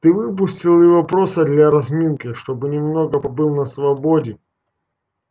ты выпустил его просто для разминки чтобы немного побыл на свободе